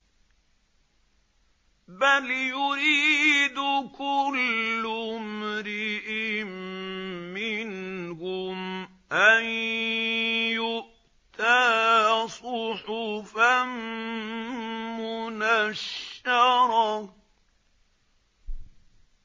بَلْ يُرِيدُ كُلُّ امْرِئٍ مِّنْهُمْ أَن يُؤْتَىٰ صُحُفًا مُّنَشَّرَةً